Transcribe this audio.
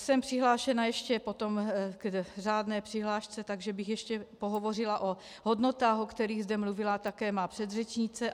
Jsem přihlášená ještě potom k řádné přihlášce, takže bych ještě pohovořila o hodnotách, o kterých zde mluvila také má předřečnice.